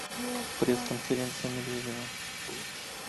пресс конференция медведева